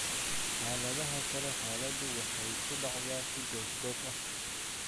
Xaaladaha kale xaaladdu waxay ku dhacdaa si goos goos ah.